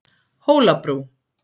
Hólabrú